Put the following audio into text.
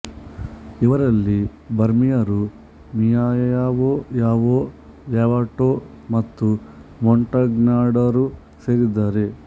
ಇವರಲ್ಲಿ ಬರ್ಮೀಯರು Miao Yao ಲ್ಯಾವೋಟ್ ಮತ್ತು ಮೊಂಟಗ್ನಾರ್ಡರು ಸೇರಿದ್ದಾರೆ